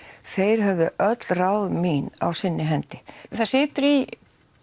þeir höfðu öll ráð mín á sinni hendi það situr í